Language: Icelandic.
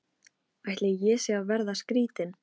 Mikkel, hvað er lengi opið í Háskólanum á Hólum?